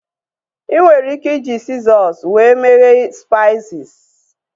ị nwere ike iji sizọs wee meghe spaisis